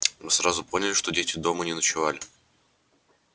мы сразу поняли что дети дома не ночевали